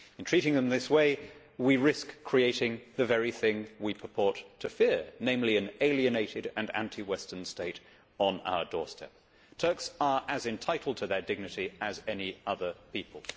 In treating them in this way we risk creating the very thing which we purport to fear, namely an alienated and anti Western state on our doorstep. Turks are as entitled to their dignity as any other people.